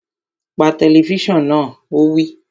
Pa tẹlifísàn náà! Ó wí